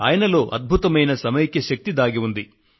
ఆయనలో అద్భుతమైన సమైక్య శక్తి దాగి ఉంది